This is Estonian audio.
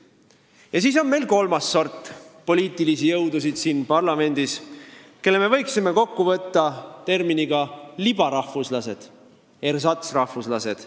Siis on siin parlamendis veel kolmas sort poliitilisi jõudusid, keda me võiksime kokkuvõtvalt nimetada terminiga "libarahvuslased ehk ersatsrahvuslased".